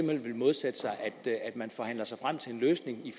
hen vil modsætte sig at man forhandler sig frem til en løsning i